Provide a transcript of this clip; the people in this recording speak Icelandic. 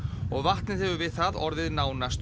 og vatnið hefur við það orðið nánast